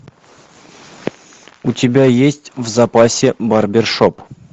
у тебя есть в запасе барбершоп